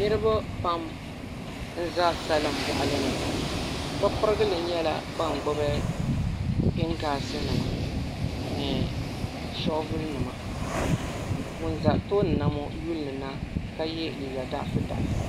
Niraba pam n ʒɛ salin boɣali ni bi pirigili nyɛla ban gbubi pingaasi nima ni shoovul nima ŋun ʒɛ tooni ŋo yulimina ka yɛ liiga daɣafu daɣafu